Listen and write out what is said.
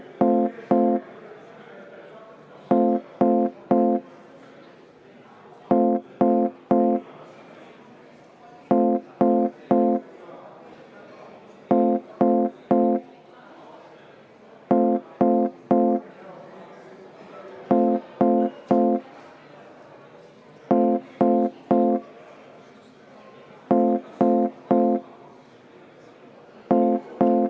Ma palun seda hääletada ja enne seda kümme minutit vaheaega!